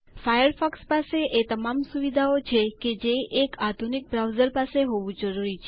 Firefox પાસે એ તમામ સુવિધાઓ છે કે જે એક આધુનિક બ્રાઉઝર પાસે હોવું જરૂરી છે